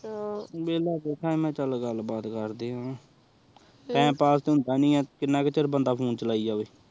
ਵੇਲ੍ਲਾ ਬੈਠਾ ਆਹ ਮੈ ਚਲ ਗੱਲ ਬਾਤ ਕਦੇ ਆਹ ਟੀਮੇ ਪਾਸ ਹੋਂਦਾ ਨੀ ਕਿੰਨੇ ਚਿਰ ਬੰਦਾ ਫੋਨੇ ਚਲਿਏ